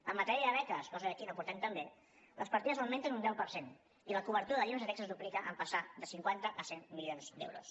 en matèria de beques cosa que aquí no portem tan bé les partides augmenten un deu per cent i la cobertura de llibres de text es duplica en passar de cinquanta a cent milions d’euros